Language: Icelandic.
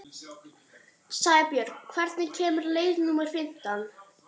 Sæbjörg, hvenær kemur leið númer fimmtán?